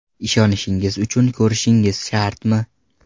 Ishonishingiz uchun ko‘rishingiz shartmi?